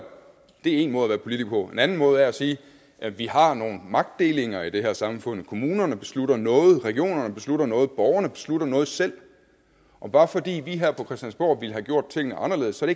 en måde at være politiker på en anden måde er at sige at vi har nogle magtdelinger i det her samfund kommunerne beslutter noget regionerne beslutter noget borgerne beslutter noget selv bare fordi vi her på christiansborg ville have gjort tingene anderledes er